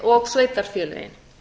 og sveitarfélögin